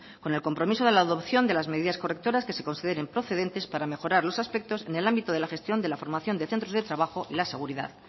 con el compromiso de la adopción de las medidas correctoras que se consideren procedentes para mejorar los aspectos en el ámbito de la gestión de la formación de centros de trabajo y la seguridad